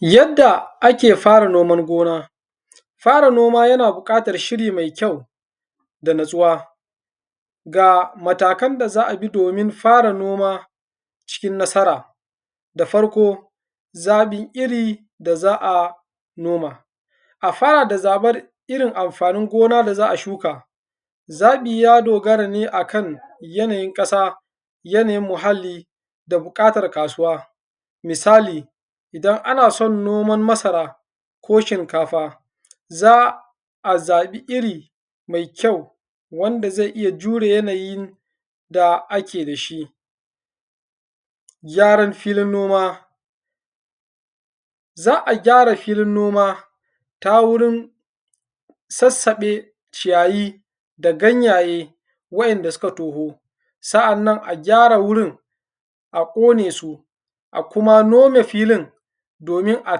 Yadda ake fara noman gona. Fara noma yana buƙatar shiri mai kyau da natsuwa, ga matakan da za a bi domin fara noma cikin nasara: Da farko, zaɓin iri da za a noma; a fara da zaɓar irin amfanin gona da za a shuka, zaɓi ya dogara ne akan yanayin ƙasa, yanayin muhalli da buƙatar kasuwa. Misali, idan ana son noman masara ko shinkafa, za a zaɓi iri mai kyau wanda zai iya jure yanayin da ake da shi. Gyaran filin noma; za a gyara filin noma ta wurin sassaɓe ciyayi da ganyaye wa’inda suka toho, sa’annan a gyara wurin a ƙone su a kuma nome filin domin a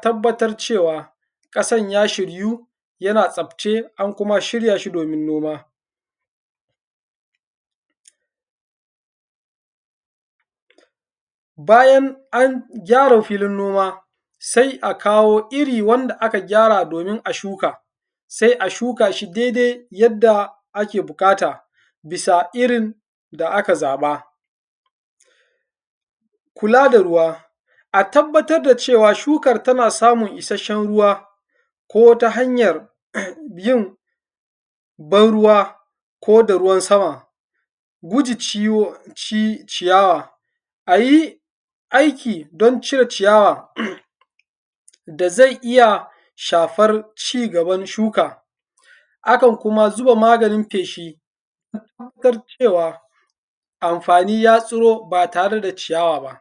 tabbatar cewa, ƙasan ya shiryu, yana tsabce an kuma shirya shi domin noma. Bayan an gyara filin noma sai a kawo iri wanda aka gyara domin a shuka, sai a shuka shi dai-dai yadda ake buƙata bisa irin da aka zaɓa. kula da ruwa; a tabbatar da cewa shukar tana samun isasshen ruwa ko ta hanyar yin ban ruwa ko da ruwan sama. Guji ciyawa; a yi aiki don cire ciyawa da zai iya shafar cigaban shuka, akan kuma zuba maganin feshi matuƙar cewa amfani ya tsiro ba tare da ciyawa.